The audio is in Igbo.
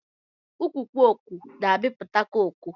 Ukwu coco na amiputa coco.